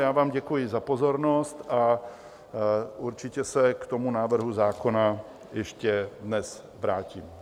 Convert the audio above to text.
Já vám děkuji za pozornost a určitě se k tomu návrhu zákona ještě dnes vrátím.